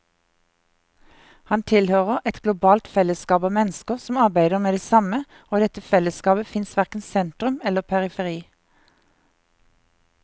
Han tilhører et globalt fellesskap av mennesker som arbeider med det samme, og i dette fellesskapet fins verken sentrum eller periferi.